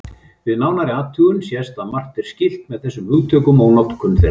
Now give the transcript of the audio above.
Við nánari athugun sést að margt er skylt með þessum hugtökum og notkun þeirra.